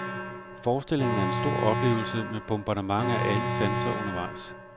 Forestillingen er en stor oplevelse med bombardement af alle sanser undervejs.